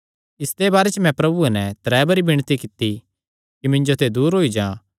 इसदे बारे च मैं प्रभुये नैं त्रै बरी विणती कित्ती कि मिन्जो ते दूर होई जा